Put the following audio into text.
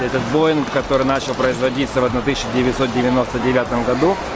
этот воин который начал производиться в одна тысяча девятьсот девяносто девятом году